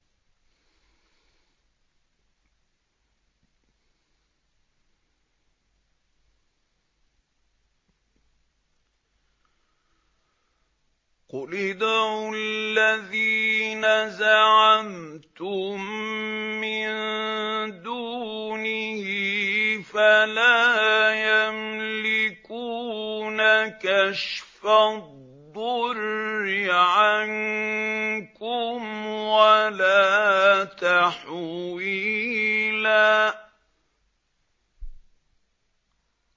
قُلِ ادْعُوا الَّذِينَ زَعَمْتُم مِّن دُونِهِ فَلَا يَمْلِكُونَ كَشْفَ الضُّرِّ عَنكُمْ وَلَا تَحْوِيلًا